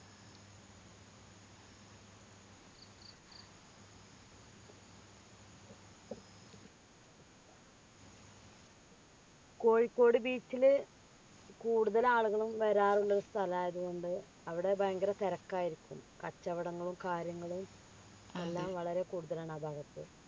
Kozhikode beach ൽ കൂടുതൽ ആളുകളും വരാറുള്ള സ്ഥലയതുകൊണ്ട് അവിടെ ഭയങ്കര തിരക്കായിരിക്കും കച്ചവടങ്ങളും കാര്യങ്ങളും എല്ലാം വളരെ കൂടുതലാണ് ഭാഗത്ത്